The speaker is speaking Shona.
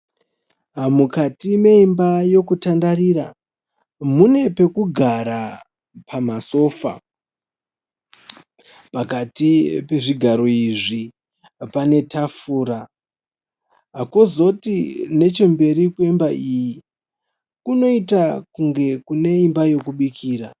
Mukati meimba yokutandarira mune pekugara pamasofa. Pakati pezvigaro izvi pane tafura kwozoti nechemberi kweimba iyi kunoita kunge kune imba yokubikira.